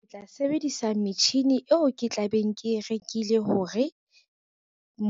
Ke tla sebedisa metjhini eo ke tla beng ke rekile hore,